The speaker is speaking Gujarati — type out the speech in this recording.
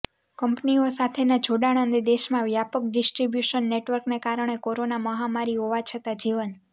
કંપનીઓ સાથેના જોડાણ અને દેશમાં વ્યાપક ડિસ્ટ્રિબ્યુશન નેટવર્કને કારણે કોરોના મહામારીહોવા છતાં જીવન